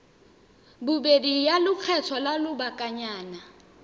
bobedi ya lekgetho la lobakanyana